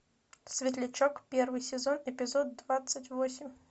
светлячок первый сезон эпизод двадцать восемь